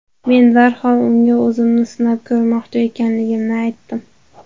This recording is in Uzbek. Men darhol unga o‘zimni sinab ko‘rmoqchi ekanligimni aytdim.